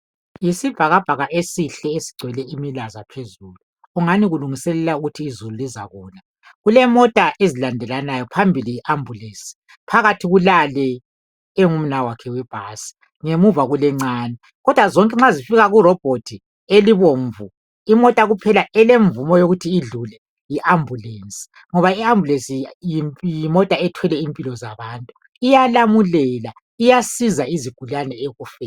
Yisibhakabhaka esihle esigcwele imilaza phezulu .Kungani kulungiselela ukuthi izulu lizakuna .Kulemota ezilandelanayo .Phambili yi ambulance. Phakathi kulale engumnawakhe webhasi .Ngemuva kulencane kodwa zonke nxa zifika kurobot ,elibomvu imota kuphela elemvumo yokuthi idlule yi ambulance .Ngoba I ambulance yimota ethwele impilo zabantu .Iyalamulela iyasiza izigulane ekufeni.